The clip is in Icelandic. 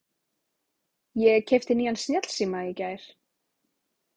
Ég keypti nýjan snjallsíma í gær.